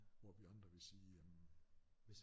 Hvor vi andre vil sige jamen